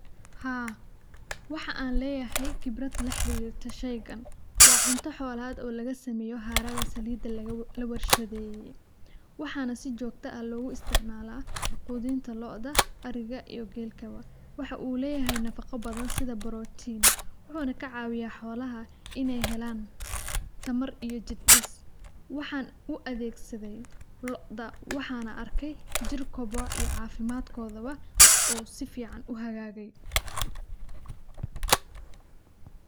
Haa, waxan leyahay qibrad la xirirto sheygan, waa cunto xolad oo laga sameeye haraga saliida la warshadeye, waxana si jogto ah logu isticmaala qudunta loo'da, ariga iyo gelkaba. waxa uu leyahay nafaqo badan, sida brotin, wuxuuna kacaawiya xolaha inay helan tamar iyo jir dhis, waxan u adeegsadey lo'da, waxana arkay jir kobco iyo caafimadkodaba oo si fican u hagaage.